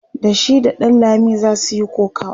da shi da ɗanlami zasu Yi kokawa